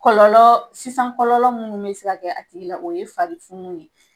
Kɔlɔlɔ kɔlɔlɔ mun be se ka kɛ a tigi la , o ye fari funu de ye.